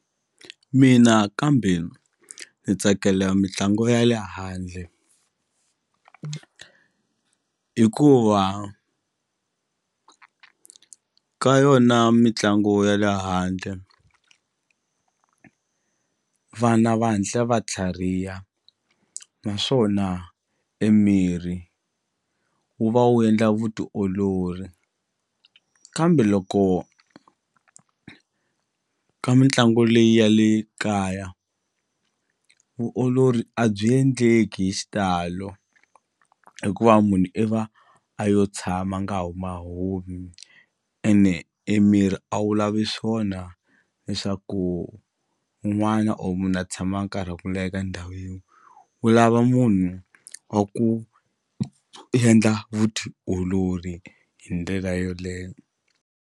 Mina kambe ni tsakela mitlangu ya le handle hikuva ka yona mitlangu ya le handle vana va hantla va tlhariha naswona e mirhi wu va wu endla vutiolori kambe loko ka mitlangu leyi ya le kaya vuolori a byi endleki hi xitalo hikuva munhu i va a yo tshama a nga huma humi ene e miri a wu lavi swona leswaku un'wana or munhu a tshama nkarhi wa ku leha eka ndhawu yin'we wu lava munhu wa ku endla vutiolori hi ndlela yoleyo.